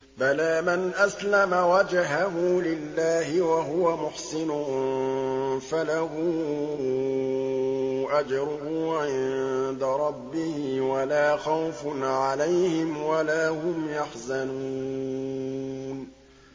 بَلَىٰ مَنْ أَسْلَمَ وَجْهَهُ لِلَّهِ وَهُوَ مُحْسِنٌ فَلَهُ أَجْرُهُ عِندَ رَبِّهِ وَلَا خَوْفٌ عَلَيْهِمْ وَلَا هُمْ يَحْزَنُونَ